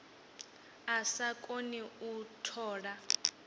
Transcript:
a sa koni u tola